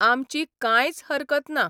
आमची कांयच हरकत ना.